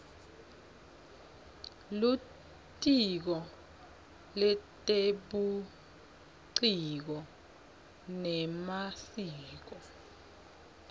litiko letebuciko nemasiko